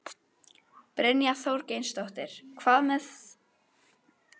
Brynja Þorgeirsdóttir: En hvað með þensluhvetjandi áhrifin af þessu?